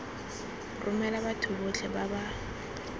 romela batho botlhe ba ba